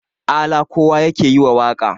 ala kowa yake yi wa waƙa